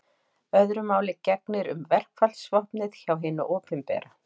Öðru máli gegnir um verkfallsvopnið hjá hinu opinbera.